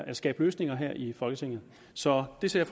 at skabe løsninger her i folketinget så det ser